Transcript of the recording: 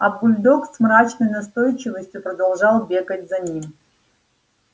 а бульдог с мрачной настойчивостью продолжал бегать за ним